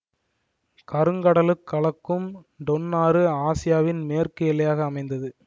கருங்கடலுட் கலக்கும் டொன் ஆறு ஆசியாவின் மேற்கு எல்லையாக அமைந்தது